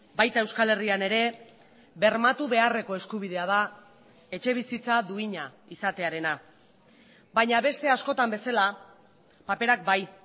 baita euskal herrian ere bermatu beharreko eskubidea da etxebizitza duina izatearena baina beste askotan bezala paperak bai